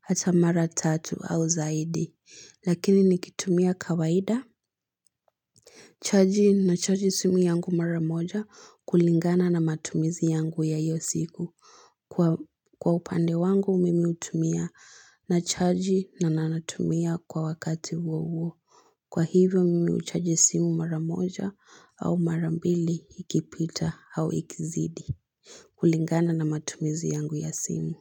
hata mara tatu au zaidi. Lakini nikitumia kawaida. Chaji nachaji simu yangu mara moja kulingana na matumizi yangu ya iyo siku. Kwa upande wangu, mimi hutumia na chaji na nanatumia kwa wakati huo huo. Kwa hivyo, mimi huchaji simu mara moja au mara mbili ikipita au ikizidi. Kulingana na matumizi yangu ya simu.